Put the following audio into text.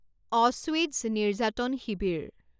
Auschwitz নিৰ্যাতন শিবিৰ